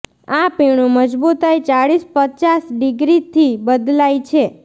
આ પીણું મજબૂતાઈ ચાળીસ પચાસ ડિગ્રી થી બદલાય છે